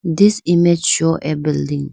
this image show a building.